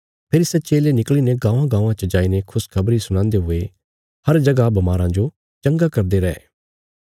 फेरी सै चेले निकल़ीने गाँवांगाँवां च जाईने खुशखबरी सुणांदे हुये हर जगह बमाराँ जो चंगा करदे रैये